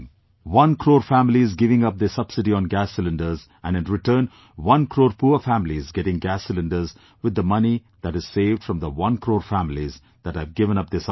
One crore families giving up their subsidy on gas cylinders and in return one crore poor families getting gas cylinders with the money that is saved from the one crore families that have given up their subsidy